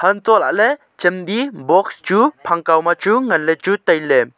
antoh lahley chem di box chu phang khaw ma chu ngan le chu tailey.